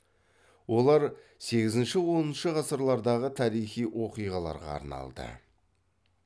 олар сегізінші оныншы ғасырлардағы тарихи оқиғаларға арналды